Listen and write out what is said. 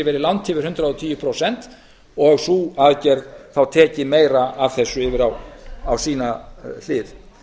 verið langt yfir hundrað og tíu prósent og sú aðgerð þá tekið meira af þessu yfir á sína hlið